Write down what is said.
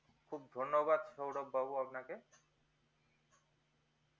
খুব ধন্যবাদ সৌরভ বাবু আপনাকে